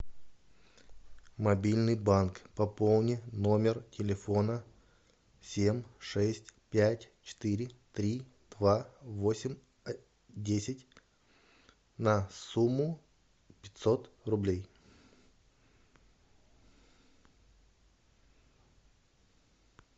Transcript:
мобильный банк пополни номер телефона семь шесть пять четыре три два восемь десять на сумму пятьсот рублей